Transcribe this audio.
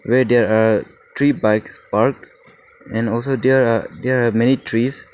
where there are three bikes parked and also there are there are many trees.